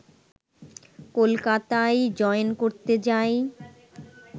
কলকাতায় জয়েন করতে যাই